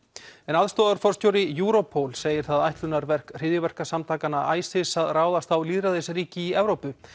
aðstoðarforstjóri Europol segir það ætlunarverk hryðjuverkasamtakanna ISIS að ráðast á lýðræðisríki í Evrópu